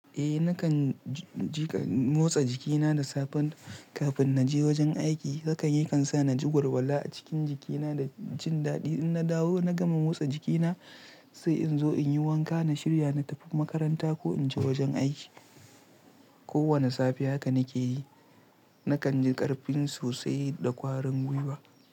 Eh nakan ji-ji motsa jikina da safen kafin na je wajen aiki. Haka ne kan sa na ji warwala a cikin jikina da jin daɗi. In na dawo na gama motsa jikina sai in zo in yi wanka, na shirya, na tafi makaranta ko in je wajen aiki. Ko wane safe haka nake yi. Nakan ji ƙarfin sosai da kwarin gwiwa.